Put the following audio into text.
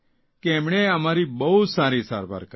કે તેમણે અમારી બહુ સારી સારવાર કરી